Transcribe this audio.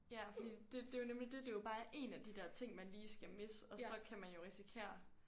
Ja fordi det det jo nemlig dét det er jo bare én af de der ting man lige skal misse og så kan man jo risikere